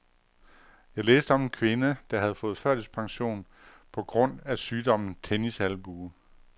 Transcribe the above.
Jeg læste om en kvinde, der havde fået førtidspension på grund af sygdommen tennisalbue.